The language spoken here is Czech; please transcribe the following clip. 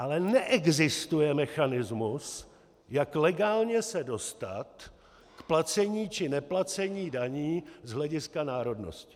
Ale neexistuje mechanismus, jak legálně se dostat k placení či neplacení daní z hlediska národnosti.